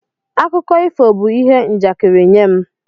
Akụkọ ifo bụ ihe njakịrị nye m.